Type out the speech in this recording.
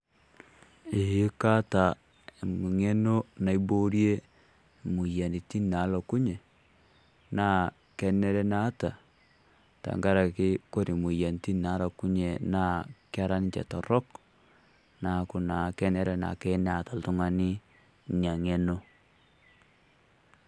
Eeh kaata eng'eno niboorie imoyiarritin naalokunye, naa kenere naata tang'araki kore moyiarritin naalokunye naa kera ninchee toorok naaku naa kenere naake ltung'ani nia eng'eno.